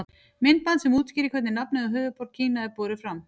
Myndband sem útskýrir hvernig nafnið á höfuðborg Kína er borið fram.